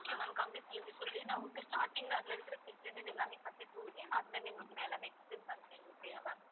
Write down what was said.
okay ma'am கம்மி rate ல இருந்தே சொல்லுறேன் ma'am நான் உங்க starting ல அதுல இருக்கிற facilities எல்லாமே அதுல இருந்து உங்களுக்கு நான் எல்லாமே explain பண்றேன் okay யா ma'am